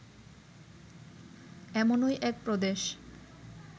এমনই এক প্রদেশ